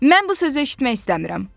Mən bu sözü eşitmək istəmirəm.